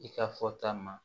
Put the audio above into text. I ka fɔta ma